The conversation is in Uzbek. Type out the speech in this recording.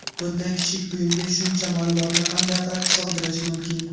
Bunday kichik buyumga shuncha ma’lumotni qanday qilib sig‘dirish mumkin?